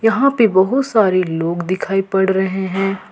यहां पे बहुत सारे लोग दिखाई पड़ रहे हैं।